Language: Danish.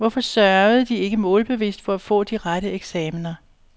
Hvorfor sørgede de ikke målbevidst for at få de rette eksaminer?